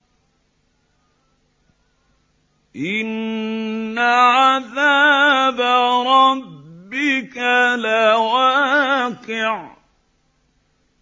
إِنَّ عَذَابَ رَبِّكَ لَوَاقِعٌ